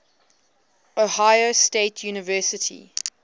ohio state university